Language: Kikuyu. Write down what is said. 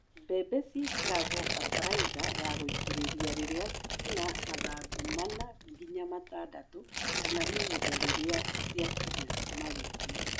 Mbembe ciĩkĩragwo bataraitha ya ngũitĩrĩria rĩrĩa cina mathangũ mana nginya matandatũ kana ihinda rĩrĩa ciakinya maru-inĩ.